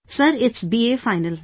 Sir, it is BA Final